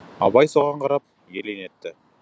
абай соған қарап елең етті